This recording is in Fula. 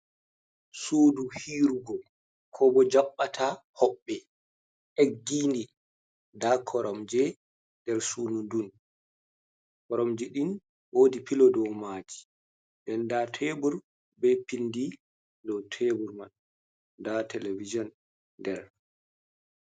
Suɗu hiirugo, ko bo jaɓɓata hoɓɓe, eggini. Nɗa koramje nɗer suɗu ɗun. Koromje ɗin woɗi pilo ɗow maji, ɗen nɗa tebur, be pinɗi ɗow teɓur man. Nɗa televijian nɗer.